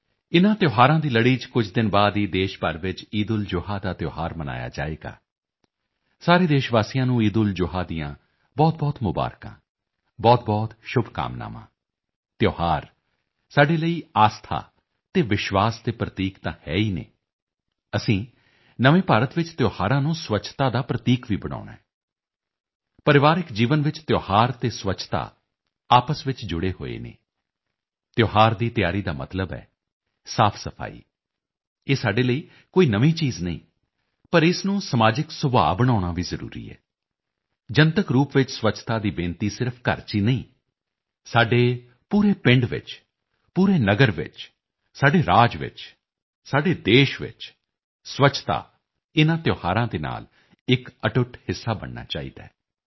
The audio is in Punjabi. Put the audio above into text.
ਇਨ੍ਹਾਂ ਤਿਓਹਾਰਾਂ ਦੀ ਲੜੀ ਚ ਕੁਝ ਦਿਨ ਬਾਅਦ ਹੀ ਦੇਸ਼ ਭਰ ਵਿੱਚ ਈਦਉਲਜੁਹਾ ਦਾ ਤਿਓਹਾਰ ਵੀ ਮਨਾਇਆ ਜਾਵੇਗਾ ਸਾਰੇ ਦੇਸ਼ ਵਾਸੀਆਂ ਨੂੰ ਈਦਉਲਜੁਹਾ ਦੀਆਂ ਬਹੁਤਬਹੁਤ ਮੁਬਾਰਕਾਂ ਬਹੁਤ ਸ਼ੁਭਕਾਮਨਾਵਾਂ ਤਿਓਹਾਰ ਸਾਡੇ ਲਈ ਆਸਥਾ ਅਤੇ ਵਿਸ਼ਵਾਸ ਦੇ ਪ੍ਰਤੀਕ ਤਾਂ ਹੈ ਹੀ ਨੇ ਅਸੀਂ ਨਵੇਂ ਭਾਰਤ ਵਿੱਚ ਤਿਓਹਾਰਾਂ ਨੂੰ ਸਵੱਛਤਾ ਦਾ ਪ੍ਰਤੀਕ ਵੀ ਬਣਾਉਣਾ ਹੈ ਪਰਿਵਾਰਕ ਜੀਵਨ ਵਿੱਚ ਤਿਓਹਾਰ ਅਤੇ ਸਵੱਛਤਾ ਆਪਸ ਚ ਜੁੜੇ ਹੋਏ ਹਨ ਤਿਓਹਾਰ ਦੀ ਤਿਆਰੀ ਦਾ ਮਤਲਬ ਹੈ ਸਾਫਸਫਾਈ ਇਹ ਸਾਡੇ ਲਈ ਕੋਈ ਨਵੀਂ ਚੀਜ਼ ਨਹੀਂ ਪਰ ਇਸ ਨੂੰ ਸਮਾਜਿਕ ਸੁਭਾਅ ਬਣਾਉਣਾ ਵੀ ਜ਼ਰੂਰੀ ਹੈ ਜਨਤਕ ਰੂਪ ਵਿੱਚ ਸਵੱਛਤਾ ਦੀ ਬੇਨਤੀ ਸਿਰਫ ਘਰ ਚ ਹੀ ਨਹੀਂ ਸਾਡੇ ਪੂਰੇ ਪਿੰਡ ਵਿੱਚ ਪੂਰੇ ਨਗਰ ਵਿੱਚ ਸਾਡੇ ਰਾਜ ਵਿੱਚ ਸਾਡੇ ਦੇਸ਼ ਚ ਸਵੱਛਤਾ ਇਨਾਂ ਤਿਓਹਾਰਾਂ ਦੇ ਨਾਲ ਇੱਕ ਅਟੁੱਟ ਹਿੱਸਾ ਬਣਨਾ ਚਾਹੀਦਾ ਹੈ